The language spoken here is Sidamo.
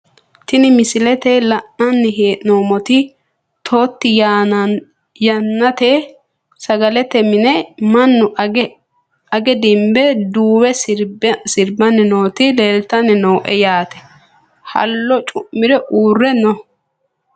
Tini misilete la`nani heenomot toti yannate sagalete mine manu age dinbbe duuwe sirbani nooti leeltani nooe yaate hallo cumire uure no.